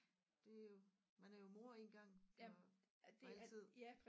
Det er jo man er jo mor en gang for altid